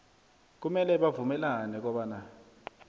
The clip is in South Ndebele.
kumele bavumelane kobana